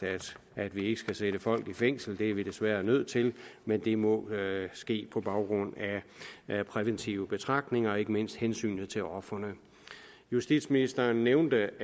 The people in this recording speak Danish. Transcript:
at vi ikke skal sætte folk i fængsel det er vi desværre nødt til men det må ske på baggrund af præventive betragtninger og ikke mindst af hensyn til ofrene justitsministeren nævnte